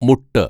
മുട്ട്